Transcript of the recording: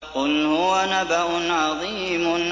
قُلْ هُوَ نَبَأٌ عَظِيمٌ